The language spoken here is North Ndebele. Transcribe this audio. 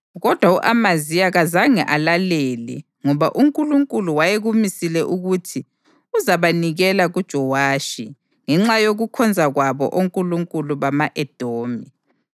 Kodwa u-Amaziya kazange alalele ngoba uNkulunkulu wayekumisile ukuthi uzabanikela kuJowashi, ngenxa yokukhonza kwabo onkulunkulu bama-Edomi.